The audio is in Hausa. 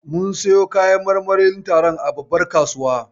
Mun siyo kayan marmarin taron a babbar kasuwa.